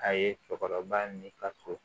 A ye cɛkɔrɔba ni ka so